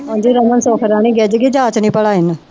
ਉੰਞ ਸੁੱਖ ਗਿੱਝ ਗਈ ਜਾਂਚ ਨੀ ਭਲਾ ਇਹਨੂੰ।